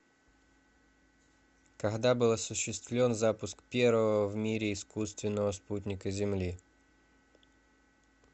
когда был осуществлен запуск первого в мире искусственного спутника земли